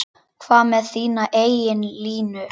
Hvað með þína eigin línu?